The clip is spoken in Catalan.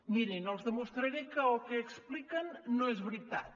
mirin els demostraré que el que expliquen no és veritat